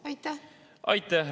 Aitäh!